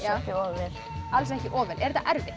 ekki of vel alls ekki of vel er þetta erfitt